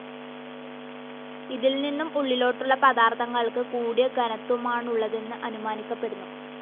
ഇതിൽനിന്നും ഉള്ളിലോട്ടുള്ള പദാർത്ഥങ്ങൾക്ക് കൂടിയ ഘനത്വമാണുള്ളതെന്നു അനുമാനിക്കപ്പെടുന്നു.